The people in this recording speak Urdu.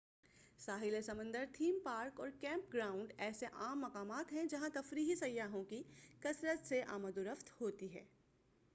ساحل سمندر تھیم پارک اور کیمپ گراؤنڈ ایسے عام مقامات ہیں جہاں تفریحی سیاحوں کی کثرت سے آمد و رفت ہوتی ہے